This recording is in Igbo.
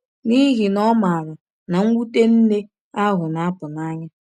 N’ihi na ọ maara na mwute nne ahụ na-apụ n’anya.